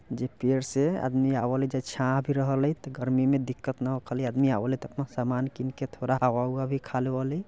जे पेड से आदमी आवा हलइ जे छाह भी रह हलइ गर्मी मे दिक्कत न होख खली आदमी आवा हलइ त अपना सामान किनके थोरा हवा-उवा भी खालेवा हलइ ।